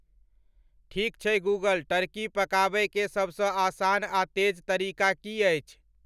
ठीक छै Google turkey पकाबय के सबस आसान आ तेज तरीका की अछि